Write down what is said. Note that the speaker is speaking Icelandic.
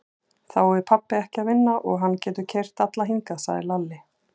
Þá er pabbi ekki að vinna og hann getur keyrt alla hingað, sagði Lalli.